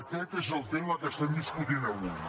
aquest és el tema que estem discutint avui